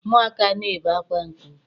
Ụmụaka na-ebe akwa nke ukwuu.